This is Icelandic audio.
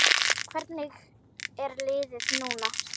Hvernig er liðið núna?